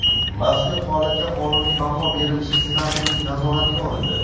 Mazkur holatga qonuniy baho berilishi senatorlik nazoratiga olindi.